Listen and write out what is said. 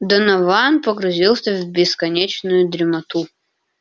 донован погрузился в бесконечную дремоту